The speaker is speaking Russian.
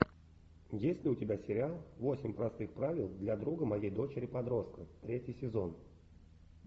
есть ли у тебя сериал восемь простых правил для друга моей дочери подростка третий сезон